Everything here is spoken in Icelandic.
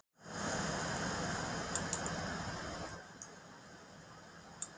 Í fornu máli var líkingin auðskilin.